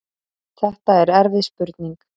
Þetta er erfið spurning.